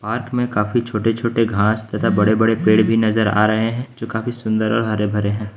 Park में काफी छोटे-छोटे घास तथा बड़े-बड़े पेड़ भी नजर आ रहे हैं जो काफी सुंदर और हरे-भरे हैं।